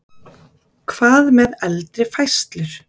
Hvað með eldri færslur?